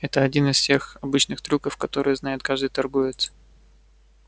это один из тех обычных трюков который знает каждый торговец